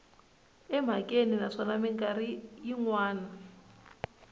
emhakeni naswona mikarhi yin wana